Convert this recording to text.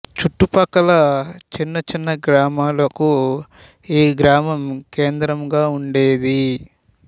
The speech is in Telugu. చుట్టుపక్కల చిన్న చిన్న గ్రామాలకు ఈ గ్రామం కేంద్రంగా ఉండేది